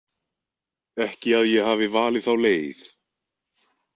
Ekki að ég hafi valið þá leið.